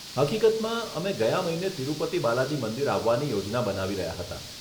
હકીકતમાં, અમે ગયા મહિને તિરુપતિ બાલાજી મંદિર આવવાની યોજના બનાવી રહ્યા હતા.